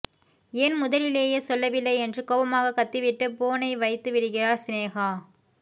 ஏன் முதலிலேயே சொல்லவில்லை என்று கோபமாக கத்திவிட்டு போனை வைத்துவிடுகிறார் சினேகா